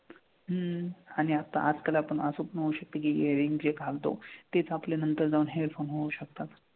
हम्म आणि आता आजकाल आपण असं पण म्हणू शकतो की earring जे घालतो तेच आपले नंतर जाऊन headphone होऊ शकतात.